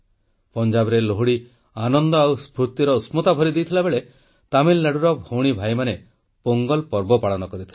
ପଞ୍ଜାବରେ ଲୋହଡ଼ିର ଆନନ୍ଦ ଆଉ ସ୍ଫୁର୍ତି ଉଷ୍ଣତା ଭରି ଦେଇଥିବାବେଳେ ତାମିଲନାଡ଼ୁର ଭଉଣୀଭାଇମାନେ ପୋଙ୍ଗଲ୍ ପର୍ବ ପାଳନ କରିଥିଲେ